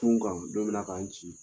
Cun n kan dɔ bi na ka n ci